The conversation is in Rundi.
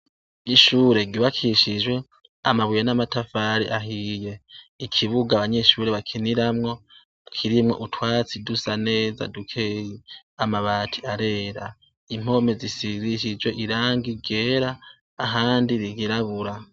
Ishure ry'ubakishijwe amabuye namatafari ahiye ikibuga abanyeshure bakiniramwo kirimwo utwatsi dusa neza dukeyi, amabati arera impome zisigishijwe irangi ryera ahandi ryirabura.